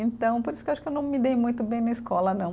Então, por isso que eu acho que eu não me dei muito bem na escola, não.